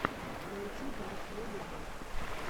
найди даркмун рэй